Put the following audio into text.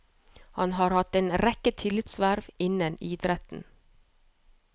Han har hatt en rekke tillitsverv innen idretten.